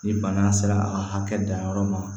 Ni bana sera a hakɛ danyɔrɔ ma